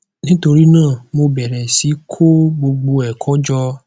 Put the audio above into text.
nítorí náà mo bẹrẹ sí í kó gbogbo ẹkọ jọ